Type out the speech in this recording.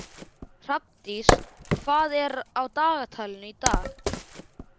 Hrafndís, hvað er á dagatalinu í dag?